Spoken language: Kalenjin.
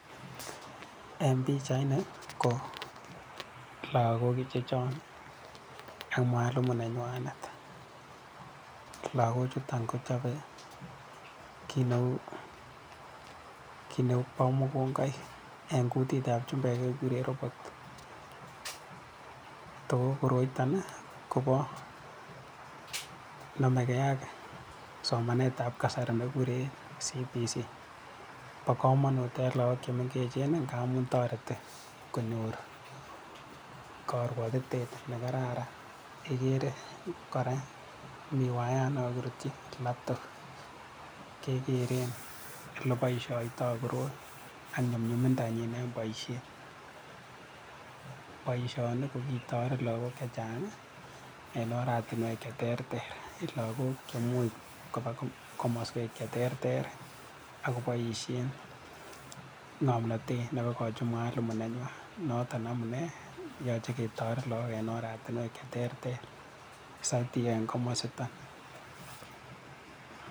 En pichait ni, ko lagok ichechon ak mwalimu nenywanet. Lagok chuto kochape kii neu, kii neu bo mokongoik, en kutitab chumbek kekuren robot. Toko koroitoni, kobo konamege ak somanetab kasari ne kikuren CBC. Bo komonut en lagok che menggechen ng'a amun toreti konyor karwatitet ne kararan. Igere kora mi waiyat ne kakirutchin laptop. Kegeren ole boishoitoi koroi ak nyunyuminda nyin en boisiet. Boisoni ko kitoret lagok chechang' en oratinwek che ter ter. Lagok ko imuch koba komaswek che ter ter, akoboishien ng'omnatet ne kokachi mwalimu nenywan. Notok amune yache ketoret lagok en oratinwek che ter ter. Satii en komositon.